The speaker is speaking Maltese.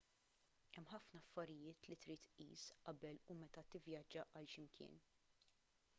hemm ħafna affarijiet li trid tqis qabel u meta tivvjaġġa għal x'imkien